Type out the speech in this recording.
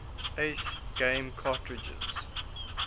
aes game cartridges